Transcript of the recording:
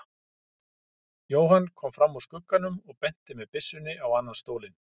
Jóhann kom fram úr skugganum og benti með byssunni á annan stólinn.